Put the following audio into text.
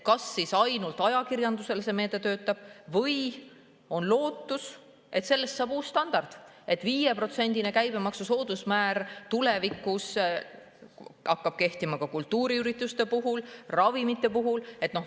Kas siis ainult ajakirjanduse puhul see meede töötab või on lootust, et sellest saab uus standard ja 5%‑line käibemaksu soodusmäär hakkab tulevikus kehtima ka kultuuriürituste puhul, ravimite puhul?